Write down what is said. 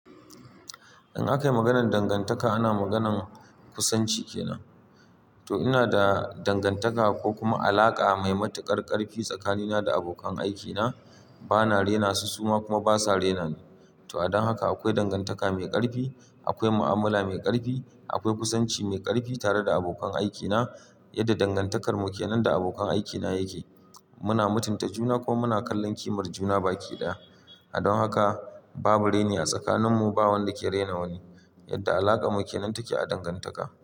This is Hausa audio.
In aka yi maganar dangantaka, ana magana kusanci kenan. To ina da dangantaka ko kuma alaƙa mai matuƙar ƙarfi tsakanina da abokan aikina. Bana rena su, su ma kuma basa rena ni. To a don haka akwai dangantaka mai ƙarfi, akwai mu'amala mai ƙarfi, akwai kusanci mai ƙarfi tare da abokan aikina. Yadda dangantakar mu kenan da abokan aikina yake, muna mutunta juna ko muna kallon kimar juna baki ɗaya. A don haka babu reni a tsakaninmu, ba wanda ke rena wani. Yadda alaƙarmu kenan take a dangantaka.